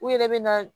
U yɛrɛ bɛ na